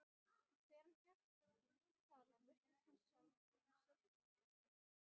Þegar hann hélt þaðan virtist hann sjálfum sér líkastur.